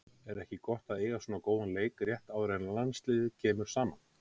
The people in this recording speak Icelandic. Er ekki gott að eiga svona góðan leik rétt áður en að landsliðið kemur saman?